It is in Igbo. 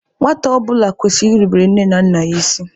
Nwata ọbụla kwesịrị irubere nne na nna ya isi.